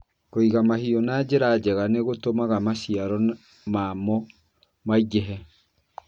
Kũiga mahiũ na njĩra njega nĩ gũtũmaga maciaro mamo maingĩhe.